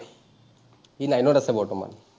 ই nine ত আছে বৰ্তমান।